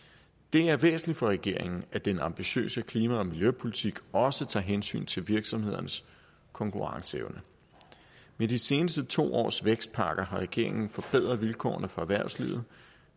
er væsentligt for regeringen at den ambitiøse klima og miljøpolitik også tager hensyn til virksomhedernes konkurrenceevne med de seneste to års vækstpakker har regeringen forbedret vilkårene for erhvervslivet